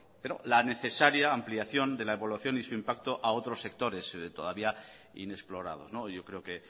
pero la necesaria ampliación de la evaluación y su impacto a otro sectores todavía inexplorados yo creo que